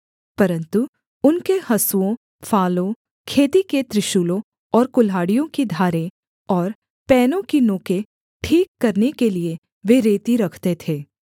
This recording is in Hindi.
परन्तु उनके हँसुओं फालों खेती के त्रिशूलों और कुल्हाड़ियों की धारें और पैनों की नोकें ठीक करने के लिये वे रेती रखते थे